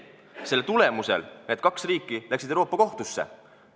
Selle tulemusel läksid need kaks riiki Euroopa Kohtusse.